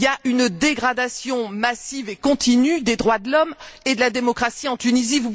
Il y a une dégradation massive et continue des droits de l'homme et de la démocratie en Tunisie.